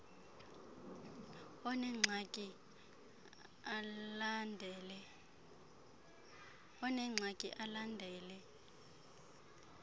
onengxaki al andele